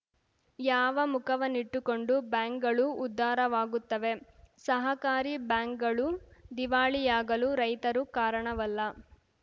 ಯಾವ ಮುಖವನ್ನಿಟ್ಟುಕೊಂಡು ಬ್ಯಾಂಕ್‌ಗಳು ಉದ್ಧಾರವಾಗುತ್ತವೆ ಸಹಕಾರಿ ಬ್ಯಾಂಕ್‌ಗಳು ದಿವಾಳಿಯಾಗಲು ರೈತರು ಕಾರಣವಲ್ಲ